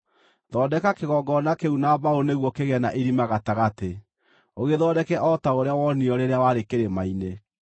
Thondeka kĩgongona kĩu na mbaũ nĩguo kĩgĩe na irima gatagatĩ. Ũgĩthondeke o ta ũrĩa wonirio rĩrĩa warĩ kĩrĩma-inĩ.